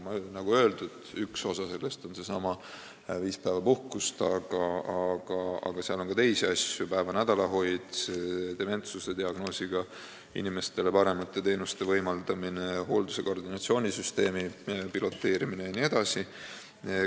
Nagu öeldud, üks osa nendest on seesama viiepäevane puhkus, aga seal on ka teisi asju: päeva- ja nädalahoid, dementsusdiagnoosiga inimestele paremate teenuste võimaldamine, hoolduse koordinatsioonisüsteemi piloteerimine jne.